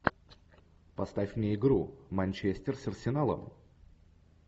поставь мне игру манчестер с арсеналом